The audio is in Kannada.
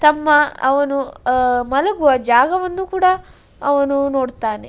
ತಮ್ಮ ಅವ್ನು ಅಹ್ ಮಲಗುವ ಜಾಗವನ್ನು ಕೂಡ ಅವನು ನೋಡತ್ತಾನೆ.